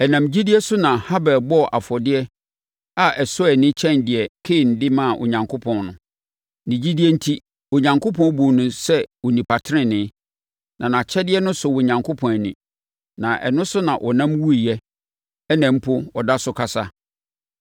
Ɛnam gyidie so na Habel bɔɔ afɔdeɛ a ɛsɔ ani kyɛn deɛ Kain de maa Onyankopɔn no. Ne gyidie enti, Onyankopɔn buu no sɛ onipa tenenee, na nʼakyɛdeɛ no sɔɔ Onyankopɔn ani. Na ɛno so na ɔnam wuiɛ a ɛnnɛ mpo ɔda so kasa.